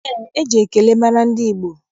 Ee, eji ekele mara ndị Igbo.